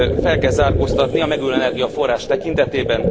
fel kell zárkóztatni a megújuló energiaforrás tekintetében.